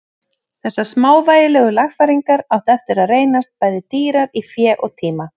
Þessar smávægilegu lagfæringar áttu eftir að reynast bæði dýrar í fé og tíma.